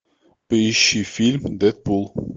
поищи фильм дедпул